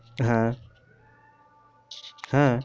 হ্যা হ্যা